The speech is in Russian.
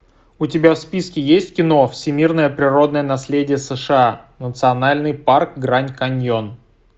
у тебя в списке есть кино всемирное природное наследие сша национальный парк гранд каньон